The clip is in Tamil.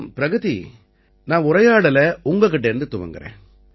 பிரகதி நான் உரையாடலை உங்க கிட்டேர்ந்து துவங்கறேன்